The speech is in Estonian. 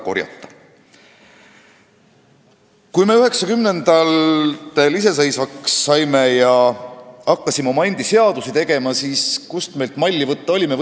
Kui me 1990-ndatel iseseisvaks saime ja hakkasime oma seadusi tegema, siis kust meil malli võtta oli?